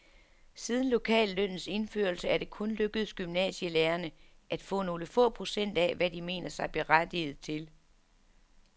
Siden lokallønnens indførelse er det kun lykkedes gymnasielærerne at få nogle få procent af, hvad de mener sig berettiget til.